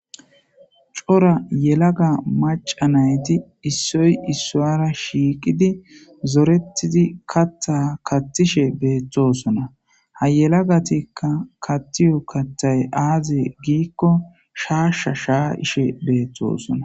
Cora yelaga maca nayti issoy issoara shiiqidi zorettidi katta kattishe beettosona ha yelagatikka kattiyo kattay aaze giikko shaashsha shaa ishe beettosona.